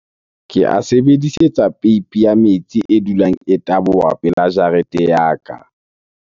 Ke a sebedisetsa peipi ya metsi e dulang e taboha pela jarete ya ka.